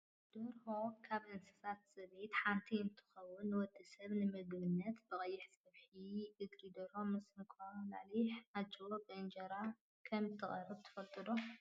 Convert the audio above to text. ደርሆ ካብ እንስሳ ዘቤት ሓንቲ እንትከውን ንወዲ ሰብ ንምግብነት ብቀይሕ ፀብሒ እግሪ ደርሆ ምስ እንቁላሊሕን ኣጅቦን ብእንጀራ ከምትቅረብ ትፈልጡ ዶ?